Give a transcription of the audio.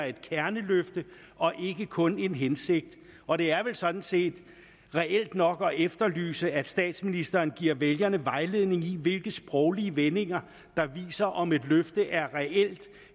et kerneløfte og ikke kun en hensigt og det er vel sådan set reelt nok at efterlyse at statsministeren giver vælgerne vejledning i hvilke sproglige vendinger der viser om et løfte er reelt